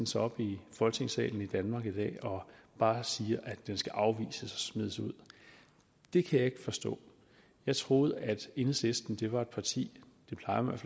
sig op i folketingssalen i danmark i dag og bare siger at det skal afvises og smides ud det kan jeg ikke forstå jeg troede at enhedslisten var et parti det plejer man